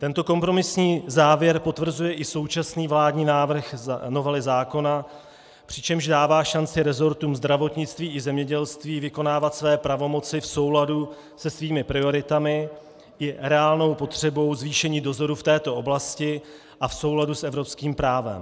Tento kompromisní závěr potvrzuje i současný vládní návrh novely zákona, přičemž dává šanci resortům zdravotnictví i zemědělství vykonávat své pravomoci v souladu se svými prioritami i reálnou potřebou zvýšení dozoru v této oblasti a v souladu s evropským právem.